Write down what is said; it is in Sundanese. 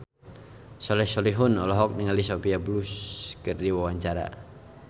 Soleh Solihun olohok ningali Sophia Bush keur diwawancara